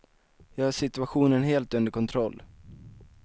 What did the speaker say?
Jag har situationen helt under kontroll.